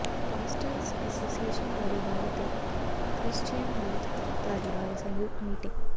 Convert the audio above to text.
pastors association Dhariwal ਅਤੇ Christian youth Dhariwal ਸੰਯੁਕਤ meeting